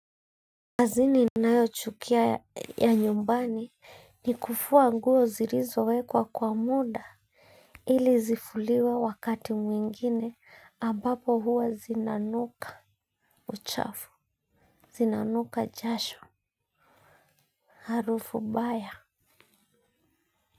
Kazi ninayo chukia ya nyumbani ni kufuwa nguo zirizo wekwa kwa muda ili zifuliwe wakati mwingine ambapo huwa zinanuka uchafu zinanuka jasho harufu baya.